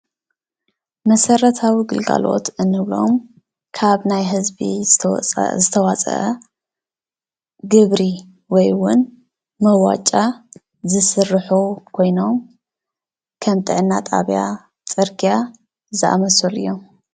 መሰረታዊ ግልጋሎት እንብሎም ካብ ናይ ህዝቢ ዝተዋፀኣ ግብሪ ወይ እውን መዋጫ ዝስርሑ ኮይኖም ከም ጥዕና ጣብያ ፣ፅርግያ ዝኣመሰሉ እዮም።